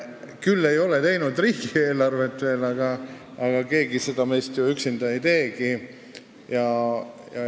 Küll ei ole ta veel teinud riigieelarvet, aga seda keegi meist ju üksinda ei teegi.